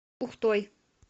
ухтой